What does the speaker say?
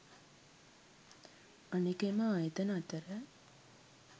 අනෙක එම ආයතන අතර